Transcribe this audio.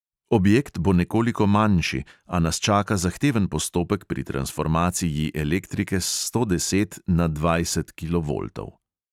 Objekt bo nekoliko manjši, a nas čaka zahteven postopek pri transformaciji elektrike s sto deset na dvajset kilovoltov.